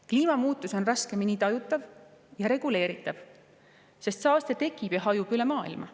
Kliimamuutused on raskemini tajutavad ja reguleeritavad, sest saaste tekib ja hajub üle maailma.